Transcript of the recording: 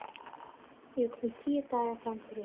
Ég var komin tíu daga framyfir.